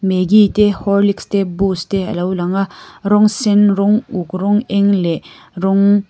maggie te horlics te boost te alo langa rawng sen rawng uk rawng eng leh rawng--